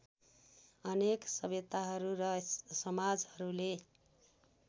अनेक सभ्यताहरू र समाजहरूले